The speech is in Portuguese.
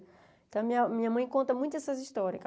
Então, a minha minha mãe conta muito essas histórias.